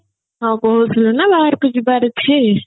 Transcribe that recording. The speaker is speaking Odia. ହଁ କହୁଥିଲୁ ନା ବାହାରକୁ ଯିବାର ଅଛି